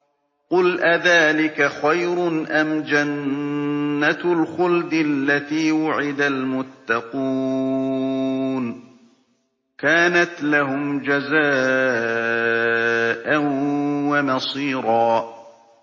قُلْ أَذَٰلِكَ خَيْرٌ أَمْ جَنَّةُ الْخُلْدِ الَّتِي وُعِدَ الْمُتَّقُونَ ۚ كَانَتْ لَهُمْ جَزَاءً وَمَصِيرًا